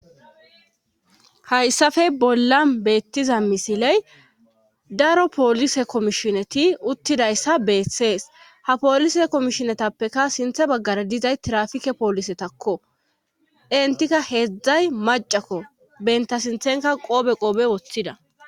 hayssafe bolla beettiza misiley daro poolise komishineti uttidayssa beethsees ha polise komishinetappeka sinthe baggara dizay trafike poolisetakko entika heedzdzay macakko benta sinthenka qoobe qoobe woththida